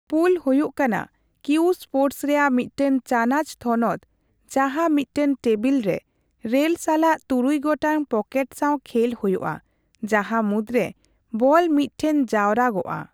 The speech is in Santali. ᱯᱩᱞ ᱦᱳᱭᱳᱜ ᱠᱟᱱᱟ ᱠᱤᱭᱩ ᱥᱯᱳᱨᱴᱚᱥ ᱨᱮᱭᱟᱜ ᱢᱤᱫᱴᱟᱝ ᱪᱟᱱᱟᱪ ᱛᱷᱚᱱᱚᱛ ᱡᱟᱸᱦᱟ ᱢᱤᱫᱴᱟᱝ ᱴᱮᱵᱤᱞᱨᱮ ᱨᱮᱞ ᱥᱟᱞᱟᱜ ᱛᱩᱨᱩᱭ ᱜᱚᱴᱟᱝ ᱯᱚᱠᱮᱴ ᱥᱟᱣ ᱠᱷᱮᱞ ᱦᱳᱭᱳᱜᱼᱟ, ᱡᱟᱸᱦᱟ ᱢᱩᱫᱨᱮ ᱵᱚᱞ ᱢᱤᱫᱴᱷᱮᱱ ᱡᱟᱣᱨᱟᱜᱼᱟ ᱾